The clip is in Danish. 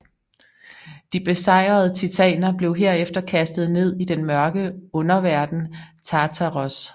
De besejrede titaner blev herefter kastet ned i den mørke underverden Tartaros